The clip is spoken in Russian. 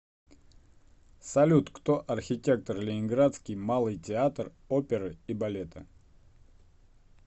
салют кто архитектор ленинградский малый театр оперы и балета